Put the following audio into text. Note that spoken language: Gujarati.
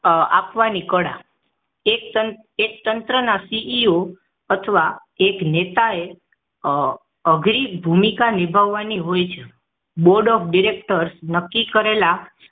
આપવાની કળા એક તંત્ર એક તંત્ર સીઈઓ અથવા એક નેતાએ અઘરી ભૂમિકા નિભાવવાની હોય છે Board of Directors નક્કી કરેલા